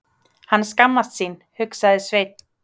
Hann skammast sín, hugsaði Sveinn.